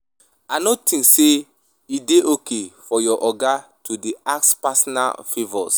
I no tink say e dey okay for your oga to dey ask personal favours.